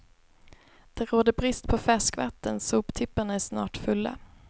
Det råder brist på färskvatten, soptipparna är snart fulla.